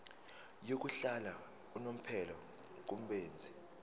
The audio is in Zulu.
yokuhlala unomphela kubenzi